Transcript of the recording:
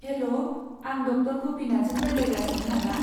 हेल', आं ड. गपिनाथजों रायज्लायगासिनो नामा?